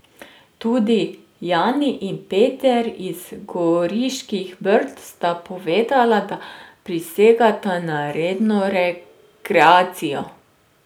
Tudi Jani in Peter iz Goriških brd sta povedala, da prisegata na redno rekreacijo.